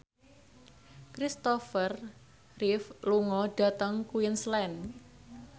Christopher Reeve lunga dhateng Queensland